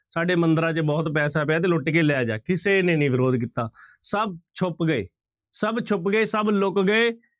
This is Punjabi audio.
ਸਾਡੇ ਮੰਦਿਰਾਂ ਚ ਬਹੁਤ ਪੈਸਾ ਪਿਆ ਤੇ ਲੁੱਟ ਕੇ ਲੈ ਜਾ, ਕਿਸੇ ਨੇ ਨੀ ਵਿਰੋਧ ਕੀਤਾ, ਸਭ ਛੁੱਪ ਗਏ, ਸਭ ਛੁੱਪ ਗਏ, ਸਭ ਲੁੱਕ ਗਏ